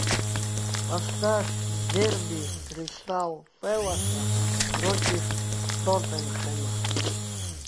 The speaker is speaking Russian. поставь дерби кристал пэласа против тоттенхэма